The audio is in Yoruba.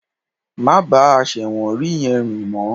Má bá àṣẹ̀wọ̀nrí yẹn rìn mọ́